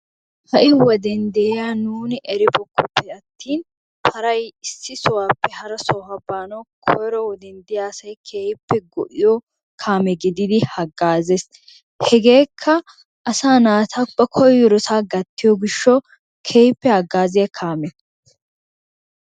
Ha'i wode de'iya nuuni eribookkoppe atin paray issi sohuwappe hara sohuwa baanawu koyro woden de'iya asay go'iyo kaamee gididi haggaazees. Hegeekka asaa naata ba koyirosaa gattiyo gishshawu keehippe hagaziya kaame.